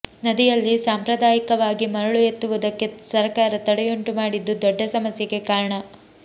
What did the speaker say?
ನದಿಯಲ್ಲಿ ಸಾಂಪ್ರದಾಯಿಕವಾಗಿ ಮರಳು ಎತ್ತುವುದಕ್ಕೆ ಸರಕಾರ ತಡೆಯುಂಟು ಮಾಡಿದ್ದು ದೊಡ್ಡ ಸಮಸ್ಯೆಗೆ ಕಾರಣ